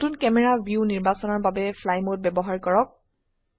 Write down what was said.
নতুন camera view নিৰ্বাচনৰ বাবে ফ্লাই মোড ব্যবহাৰ কৰক